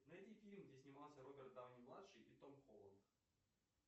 найди фильм где снимался роберт дауни младший и том холланд